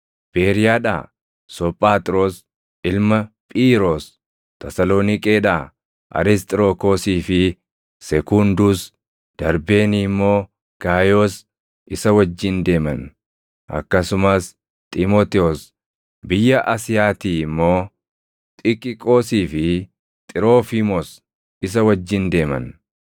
Beeriyaadhaa Soophaaxroos ilma Phiiyiroos, Tasaloniiqeedhaa Arisxirokoosii fi Sekunduus, Darbeenii immoo Gaayoos isa wajjin deeman; akkasumas Xiimotewos, biyya Asiyaatii immoo Xikiqoosii fi Xiroofiimoos isa wajjin deeman.